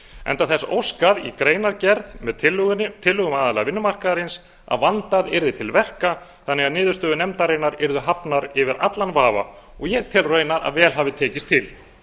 enda þess óskað í greinargerð með tillögum aðila vinnumarkaðarins að vandað yrði til verka þannig að niðurstöður nefndarinnar yrðu hafnar yfir allan vafa og ég tel raunar að vel hafi tekist til